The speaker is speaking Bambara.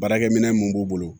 Baarakɛminɛn mun b'u bolo